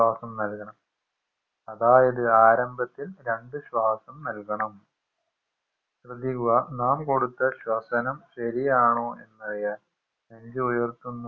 ശ്വാസം നൽകണം അതായത് ആരംഭത്തിൽ രണ്ട് ശ്വാസം നൽകണം ശ്രെദ്ധിക്കുക നാം കൊടുത്ത ശ്വസനം ശെരിയാണോ എന്നറിയാൻ നെഞ്ചുയർത്തു